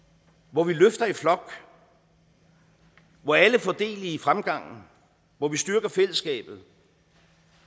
hvor vi løfter i flok hvor alle får del i fremgangen hvor vi styrker fællesskabet